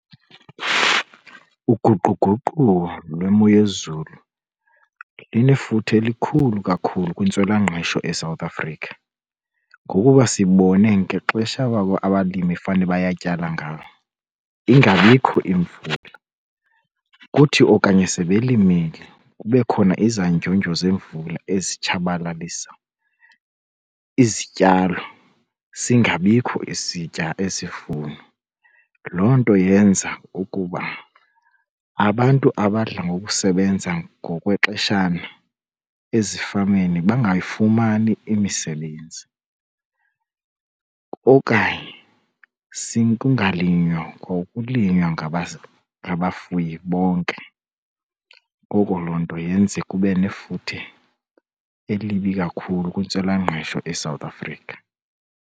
Uguquguquko lwemo yezulu linefuthe elikhulu kakhulu kwintswelangqesho eSouth Africa ngokuba sibone ngexesha abalimi fane bayatyala ngalo ingabikho imvula. Kuthi okanye sebelimile kube khona izandyundyu zemvula ezitshabalalisa izityalo, singabikho isivuno. Loo nto yenza ukuba abantu abadla ngokusebenza ngokwexeshana ezifameni bangayifumani imisebenzi okanye kungalinywa kwa ukulinywa ngabafuyi bonke. Ngoko loo nto yenze kube nefuthe elibi kakhulu kwintswelangqesho eSouth Africa.